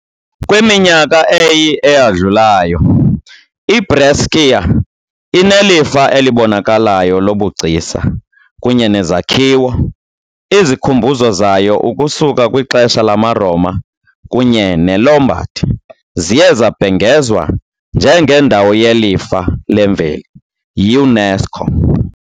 kwiminyaka eyi eyadlulayo, iBrescia inelifa elibonakalayo lobugcisa kunye nezakhiwo - izikhumbuzo zayo ukusuka kwixesha lamaRoma kunye neLombard ziye zabhengezwa njengeNdawo yeLifa leMveli yiUNESCO .